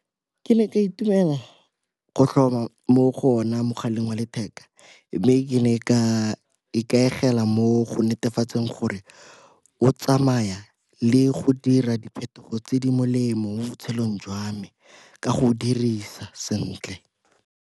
Ke ne ka itumela go tlhoma mo go ona mogaleng wa letheka mme ke ne ka ikaegela mo go netefatseng gore o tsamaya le go dira diphetogo tse di molemo mo botshelong jwa me ka go dirisa sentle.